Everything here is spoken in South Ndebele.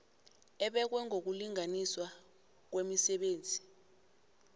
ebekwe ngokulinganiswa kwemisebenzi